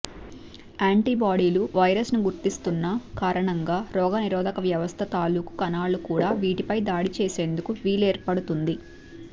యాంటీబాడీలు వైరస్ను గుర్తిస్తున్న కారణంగా రోగ నిరోధక వ్యవస్థ తాలూకూ కణాలు కూడా వీటిపై దాడి చేసేందుకు వీలేర్పడుతుంది